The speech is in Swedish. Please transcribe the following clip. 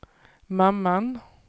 mamman